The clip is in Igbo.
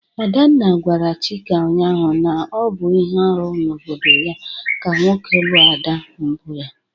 Adanna gwara Chika ụnyahụ na ọ bụ ihe arụ n'obodo ya ka nwoke lụọ ada mbụ ya.